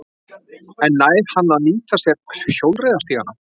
En nær hann að nýta sér hjólreiðastígana?